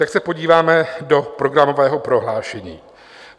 Tak se podíváme do programového prohlášení.